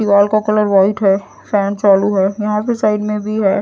दीवार का colour white है फैन चालू है यहां पे साइड में भी है।